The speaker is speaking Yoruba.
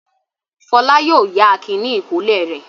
Fọlá yóò yá Akin ní ìkọ́lé rẹ̀.